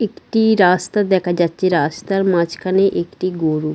একটি-ই রাস্তা দেখা যাচ্ছে রাস্তার মাঝখানে একটি গরু।